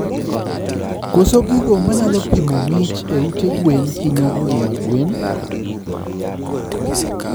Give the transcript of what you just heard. Koso gigo manyalo pimo ngih e ute gwen hinyo ngima gwen